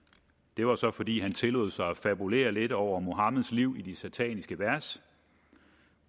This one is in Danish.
det var så fordi han tillod sig at fabulere lidt over muhammeds liv i de sataniske vers